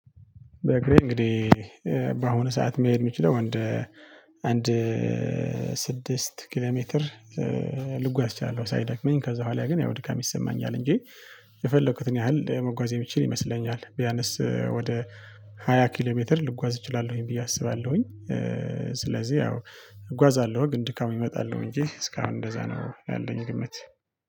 በእግሬ እንግዲህ በአሁኑ ሰዓት መሄድ የምችለው አንድ ስድስት ኪሎ ሜትር ልጓዝ እችላለሁ ሳይደክመኝ ከዛ በኋላ ግን ያው ድካም ይሰማኛል እንጂ የፈለኩትን ያህል መጓዝ የሚችል ይመስለኛል ቢያነስ ወደ ሃያ ኪሎ ሜትር ልጓዝ እችላለሁኝ ብዬ አስባለሁኝ። ስለዚህ ያው እጓዛለሁ ግን ድካም ይመጣል እንጂ እስካሁን እንደዛ ነው ያለኝ ግምት